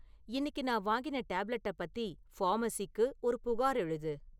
இன்னிக்கு நான் வாங்கின டேப்லெட்டப் பத்தி ஃபார்ம்மசிக்கு ஒரு புகார் எழுது